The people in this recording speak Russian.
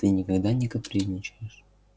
ты никогда не капризничаешь